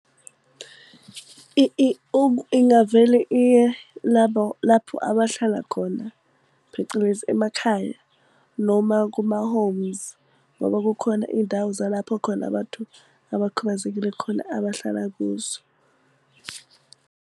Ingavele iye labo lapho abahlala khona phecelezi emakhaya, noma kuma-homes. Ngoba kukhona iy'ndawo zalapho khona abantu abakhubazekile khona abahlala kuzo.